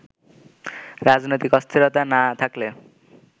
রাজনৈতিক অস্থিরতা না থাকলে